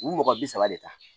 U mɔgɔ bi saba de ta